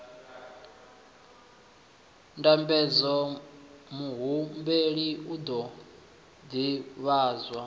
ndambedzo muhumbeli u ḓo ḓivhadzwa